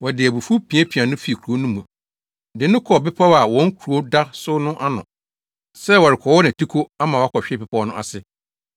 Wɔde abufuw piapiaa no fii kurow no mu de no kɔɔ bepɔw a wɔn kurow da so no ano sɛ wɔrekɔwɔ nʼatiko ama wakɔhwe bepɔw no ase.